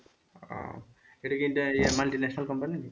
ও এটা কি India য় multinational company?